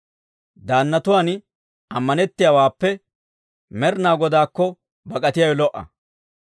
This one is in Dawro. Daannatuwaan ammanettiyaawaappe, Med'inaa Godaakko bak'atiyaawe lo"a.